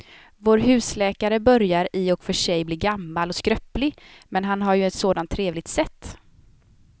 Vår husläkare börjar i och för sig bli gammal och skröplig, men han har ju ett sådant trevligt sätt!